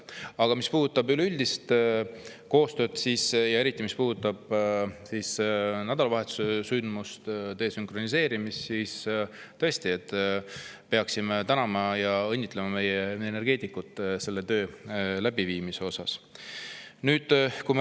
Aga mis puudutab üleüldist koostööd ja eriti seda nädalavahetuse sündmust, desünkroniseerimist, siis tõesti peaksime tänama ja õnnitlema meie energeetikuid selle töö läbiviimise puhul.